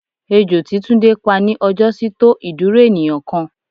Ejo tí túndé pá ní ọjọ́ sí tó ìdúró ènìyàn kan.